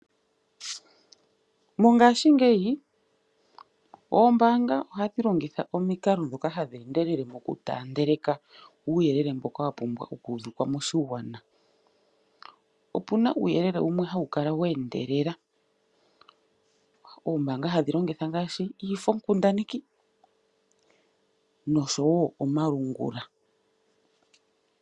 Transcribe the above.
Mongaashingeyi oombaanga ohadhi longitha omikalo dhoka hadhi endelele mokuti taandeleka uuyelele mboka wapumbwa okuuvikwa moshigwana. Opuna uuyelele wumwe hawu kala weendelela, oombaanga hadhi longitha ngaashi iifo nkundaneki nosho woo omalungula.